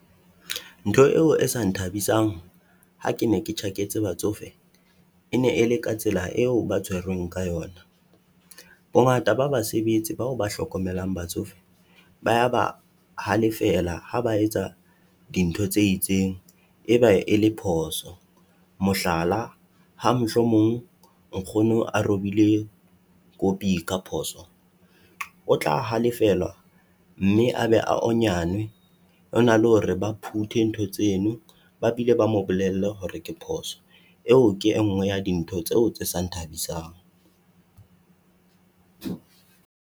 Ntho eo e se nthabisang ha ke ne ke tjhaketse batsofe, e ne e le ka tsela eo ba tshwerweng ka yona. Bongata ba basebetsi bao ba hlokomelang batsofe ba ya ba halefela ha ba etsa dintho tse itseng e ba e le phoso. Mohlala, ha mohlomong nkgono a robile koppie ka phoso, o tla halefelwa mme a be a onyanwe. Hona le hore ba puthe ntho tseno, ba bile ba mo bolelle hore ke phoso. eo ke e nngwe ya dintho tseo tse sa nthabisang.